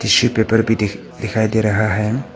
Tissue paper भी दिख दिखाई दे रहा है।